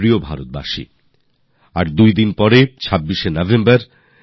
আমার প্রিয় দেশবাসী দু দিন পরেই ২৬ নভেম্বর